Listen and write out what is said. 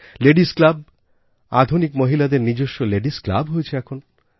ladies club আধুনিক মহিলাদের নিজস্ব লেডিস Clubহয়েছে এখন